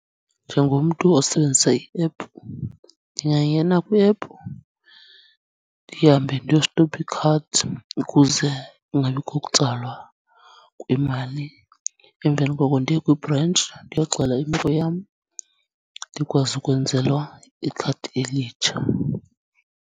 Njengomntu osebenzisa i-app ndingangena kwi-app ndihambe ndiyostopha i-cards ukuze kungabikho kutsalwa kwemali, emveni koko ndiye kwibhrentshi ndiyoxela imeko yam ndikwazi ukwenzelwa ikhadi elitsha.